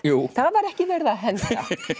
það var ekki verið að henda